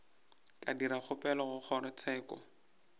ka dira kgopelo go kgorotsheko